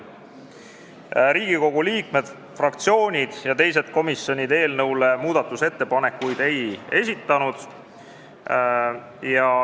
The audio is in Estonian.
Riigikogu liikmed, fraktsioonid ja teised komisjonid eelnõu kohta muudatusettepanekuid ei esitanud.